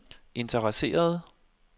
interesserede